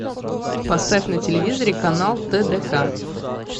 поставь на телевизоре канал тдк